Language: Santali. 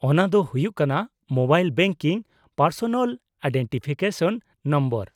-ᱚᱱᱟ ᱫᱚ ᱦᱩᱭᱩᱜ ᱠᱟᱱᱟ mobile banking personal identification number.